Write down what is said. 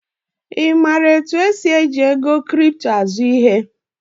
I maara otu esi eji kripto azụ ihe?